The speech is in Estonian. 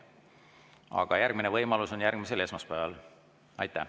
Aga järgmine võimalus on järgmisel esmaspäeval.